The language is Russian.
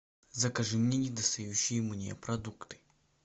закажи мне недостающие мне продукты